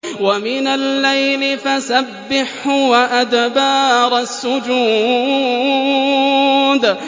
وَمِنَ اللَّيْلِ فَسَبِّحْهُ وَأَدْبَارَ السُّجُودِ